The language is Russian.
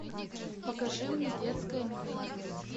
покажи мне детское меню